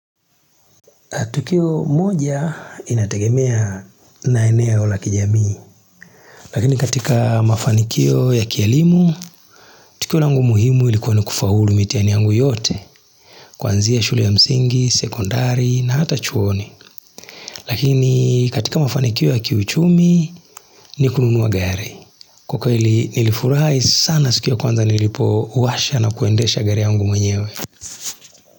Tukioo moja inatengemea na eneo la kijamii, lakini katika aa mafanikio ya kielimu, tukio langu muhimu ilikuwa ni kufaulu mitihani yangu yote, kuanzia shule ya msingi, sekondari na hata chuoni, lakini iii katika mafanikio ya kiuchumi ni kununua gari, kwa kweli nilifurahi sana siku ya kwanza nilipo washa na kuendesha gari yangu mwenyewe.